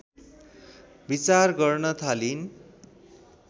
विचार गर्न थालिन्